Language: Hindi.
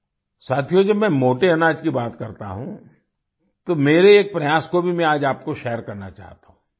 साथियो जब मैं मोटे अनाज की बात करता हूँ तो मेरे एक प्रयास को भी आज आपको शेयर करना चाहता हूँ